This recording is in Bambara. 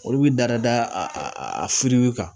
Olu bi dada da a kan